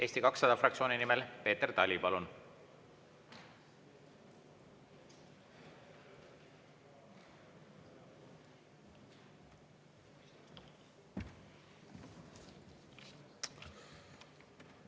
Eesti 200 fraktsiooni nimel Peeter Tali, palun!